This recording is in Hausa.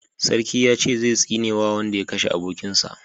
Sarki ya ce zai tsine ma wanda ya kashe abokin sa